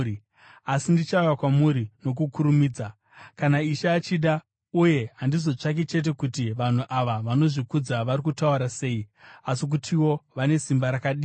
Asi ndichauya kwamuri nokukurumidza, kana Ishe achida, uye handizotsvaki chete kuti vanhu ava vanozvikudza vari kutaura sei, asi kutiwo vane simba rakadii.